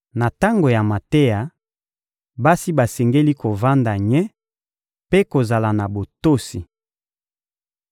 Na tango ya mateya, basi basengeli kovanda nye mpe kozala na botosi.